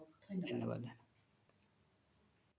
ধন্যবাদ